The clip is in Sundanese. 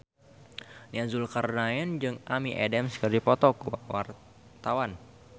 Nia Zulkarnaen jeung Amy Adams keur dipoto ku wartawan